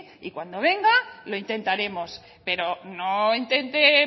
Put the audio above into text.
y cuando venga lo intentaremos pero no intente